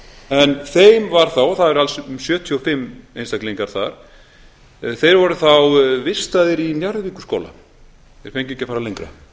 en þeim var þá og það eru alls um sjötíu og fimm einstaklingar þar þeir voru þá vistaðir í njarðvíkurskóla þeir fengu ekki að fara lengra